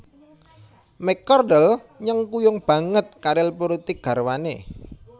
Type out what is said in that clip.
McCardle nyengkuyung banget karir pulitik garwané